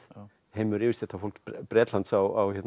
heimur yfirstéttarfólks Bretlands á